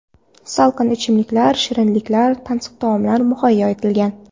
Salqin ichimliklar, shirinliklar, tansiq taomlar muhayyo etilgan.